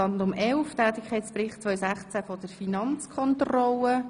Wir kommen zum Tätigkeitsbericht der Finanzkontrolle.